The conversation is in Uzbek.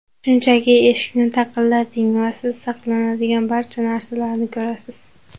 Shunchaki eshikni taqillating va siz saqlanadigan barcha narsalarni ko‘rasiz!